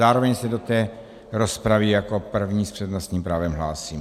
Zároveň se do té rozpravy jako první s přednostním právem hlásím.